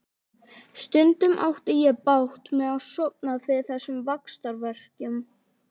Stundum átti ég bágt með að sofna fyrir þessum vaxtarverkjum.